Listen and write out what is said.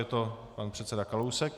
Je to pan předseda Kalousek.